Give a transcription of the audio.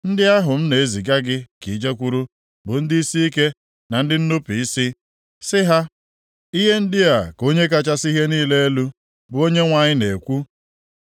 Ndị ahụ m na-eziga gị ka i jekwuru bụ ndị isiike na ndị nnupu isi. Sị ha, ‘Ihe ndị a ka Onye kachasị ihe niile elu, bụ Onyenwe anyị na-ekwu.’